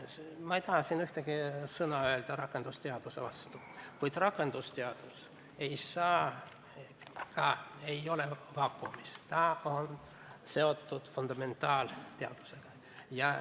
Ma ei taha siin ühtegi sõna öelda rakendusteaduse vastu, kuid rakendusteadus ei ole vaakumis, ta on seotud fundamentaalteadusega.